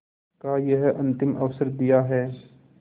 का यह अंतिम अवसर दिया है